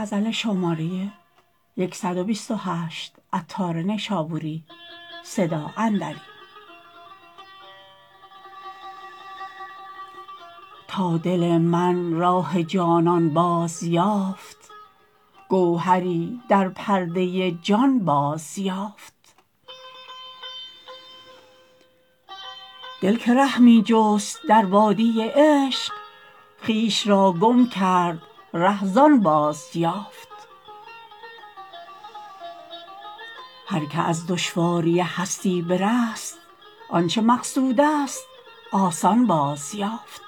تا دل من راه جانان بازیافت گوهری در پرده جان بازیافت دل که ره می جست در وادی عشق خویش را گم کرد ره زان بازیافت هر که از دشواری هستی برست آنچه مقصود است آسان بازیافت